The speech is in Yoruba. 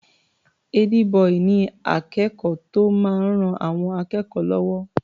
Ẹ́dí-bọì ni akẹ́kọ̀ọ́ tó máa ń ran àwọn akẹ́kọ̀ọ́ lọ́wọ́.